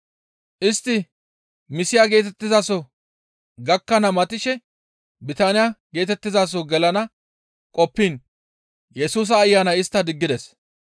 Istti Miisiya geetettizaso gakkana matishe Bitiniya geetettizaso gelana qoppiin Yesusa Ayanay istta diggides.